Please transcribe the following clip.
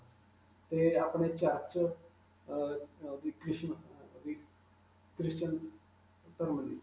'ਤੇ ਆਪਣੇ church ਅਅ ਅਅ ਵਵ Christan ਧਰਮ ਦੀ.